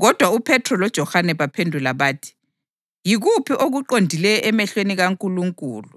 Kodwa uPhethro loJohane baphendula bathi, “Yikuphi okuqondileyo emehlweni kaNkulunkulu